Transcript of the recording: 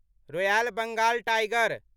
royal Bengal tiger